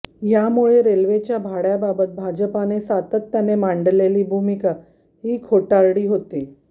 यामुळे रेल्वेच्या भाड्याबाबत भाजपने सातत्याने मांडलेली भूमिका ही खोटारडी होती